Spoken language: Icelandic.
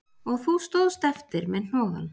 Og þú stóðst eftir með hnoðann